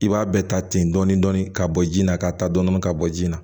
I b'a bɛɛ ta ten dɔɔni dɔɔni ka bɔ ji la ka taa dɔɔni dɔɔni ka bɔ ji la